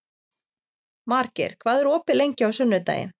Margeir, hvað er opið lengi á sunnudaginn?